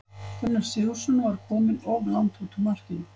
Gunnar Sigurðsson var kominn of langt út úr markinu.